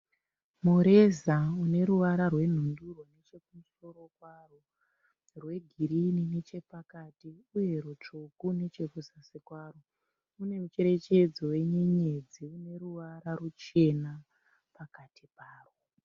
Mureza une ruvara rwenhundurwa nechekumusoro kwawo. Rwegirini nechepakati. Uye rutsvuku nechekuzasi kwawo. Une mucherechedzo wenyenyedzi ine ruvara ruchena pakati pawo.